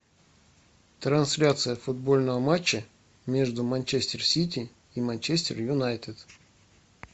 трансляция футбольного матча между манчестер сити и манчестер юнайтед